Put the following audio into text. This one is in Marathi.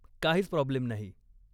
काहीच प्राॅब्लेम नाही.